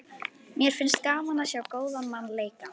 Mér finnst gaman að sjá góðan mann leika.